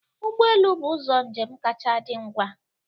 Ụgbọelu bụ ụzọ njem kacha dị ngwa